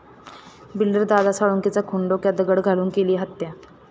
builder Dada साळुंखेचा खून, डोक्यात दगड घालून केली हत्या